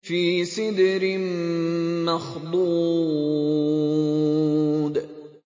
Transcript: فِي سِدْرٍ مَّخْضُودٍ